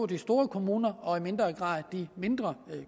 de store kommuner og i mindre grad de mindre